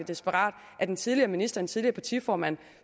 desperat at en tidligere minister og tidligere partiformand